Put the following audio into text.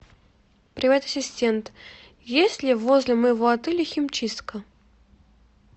привет ассистент есть ли возле моего отеля химчистка